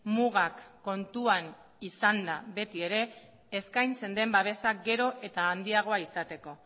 mugak kontuan izanda beti ere eskaintzen den babesa gero eta handiagoa izateko